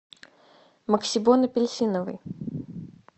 максибон апельсиновый